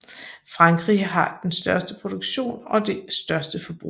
Frankrig har den største produktion og det største forbrug